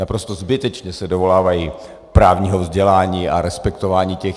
Naprosto zbytečně se dovolávají právního vzdělání a respektování těch.